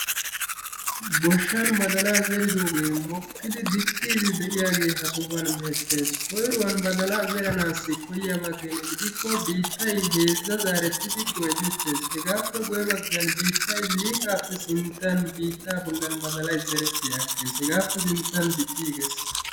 Goshshaan baddalaa zeriddoogee mokkiidi dicciidi de'iyagee ha sohuwan beettees. Koyruwan baddaalaa zeranaassi koyiyaba keena gidikko biittay heezzaa zaarietidi goyetettees hegaappe guye baggan biittay liiqqaappe sinttan biittaa bollan baddaalaaay zeereti agees, hegaappe sinttan dicciigees.